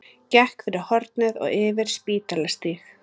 Gekk fyrir hornið og yfir Spítalastíg.